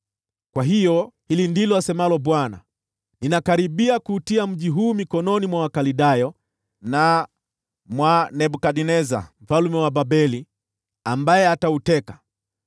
Kwa hiyo, hili ndilo asemalo Bwana : Ninakaribia kuutia mji huu mikononi mwa Wakaldayo, na mwa Nebukadneza mfalme wa Babeli ambaye atauteka.